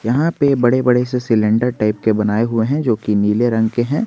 यहां पे बड़े बड़े से सिलेंडर टाइप के बनाये हुए हैं जो की नीले रंग के हैं।